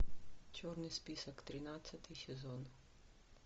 черный список тринадцатый сезон